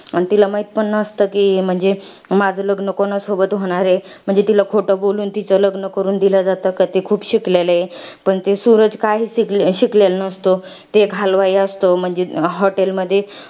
अन तिला माहित पण नसतं कि, म्हणजे, माझं लग्न कोणासोबत होणार आहे. म्हणजे तिला खोटं बोलून, तिचं लग्न करून दिलं जातं. का ते खूप शिकलेले आहे. पण ते सुरज काहीच शिकेलेला नसतो. ते एक हलवाई असतो. म्हणजे, hotel मधी